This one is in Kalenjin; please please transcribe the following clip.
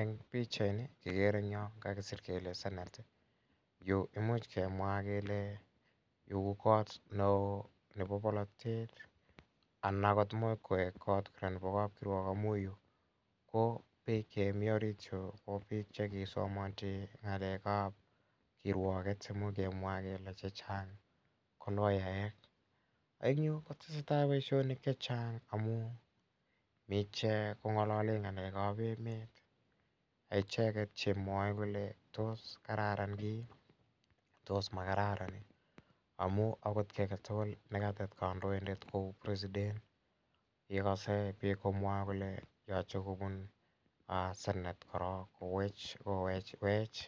Eng' pichaini kekere en yo kakisir kele Senate. Yu ko imuch kemwa kele yu ko kot ne oo nepo polotet anan agot ko imuch koek kot ne oo anan ko kapkirwok amu piik chemi orit yu ko che kisomanchi ng'alek ap kirwaket. Imuch kemwa kele chr chang' ko loyaek. Eng' yu ko tese tai poishonik che chang' amun mi ichek ko ng'alale ng'alek ap emet icheget chemwae kole tos kararan keip, tos makararan amu agit kia age tugul ne katet kandoindet kou president ye kase piik komwae kole yache kopun piik senate korok kowech wech